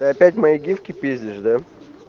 ты опять мои гифки пиздишь да